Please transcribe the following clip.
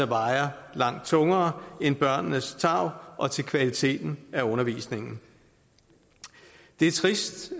vejer langt tungere end børnenes tarv og kvaliteten af undervisningen det er trist